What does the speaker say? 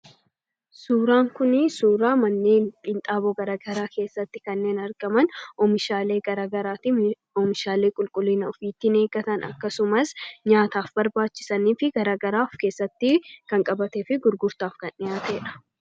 Suuraan kunii suuraa manneen qinxaaboo garaagaraa keessatti kanneen argaman oomishaalee garaagaraatiin oomishaalee qulqulliina ofii eegatan akkasumas nyaataaf barbaachisanii fi garaagaraa of keessatti kan qabatee fi gurgurtaaf kan dhihaatedha.